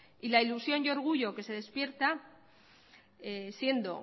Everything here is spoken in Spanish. y la ilusión y orgullo que se despierta siendo